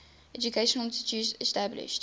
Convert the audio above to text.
educational institutions established